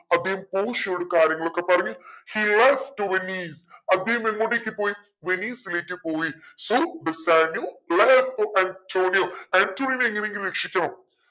അദ്ദേഹം പോഷിയോട് കാര്യങ്ങളൊക്കെ പറഞ്ഞു he leftto venice അദ്ദേഹം എങ്ങോട്ടെക് പോയി വെനീസിലേക്ക് പോയി so ബെസാനിയോ to ആന്റോണിയോ. ആൻറ്റോണിയയെ എങ്ങനെങ്കിലും രക്ഷിക്കണം